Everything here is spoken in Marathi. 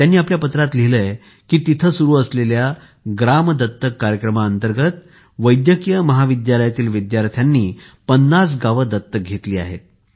त्यांनी या पत्रात लिहिले आहे कि तिथे सुरु असलेल्या ग्राम दत्तक कार्यक्रमांतर्गत वैद्यकीय महाविद्यालयातील विद्यार्थ्यांनी ५० गावं दत्तक घेतली आहेत